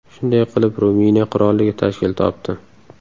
Shunday qilib Ruminiya qirolligi tashkil topdi.